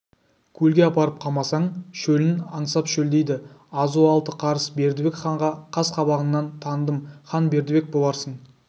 көлге апарып қамасаң шөлін аңсап шөлдейді азуы алты қарыс бердібек ханға қас-қабағыңнан таныдым хан бердібек боларсың